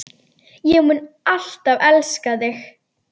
Ég mun alltaf elska þig.